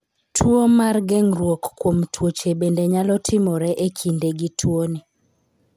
Tuwo mar geng'ruok kuom tuoche bende nyalo timore e kinde gi tuoni.